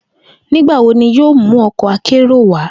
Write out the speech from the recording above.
Nigbawo ni yoo mu ọkọ akero wa?